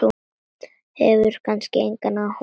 Hefur kannski engan áhuga.